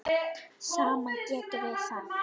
Saman getum við það.